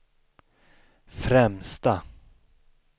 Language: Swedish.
främsta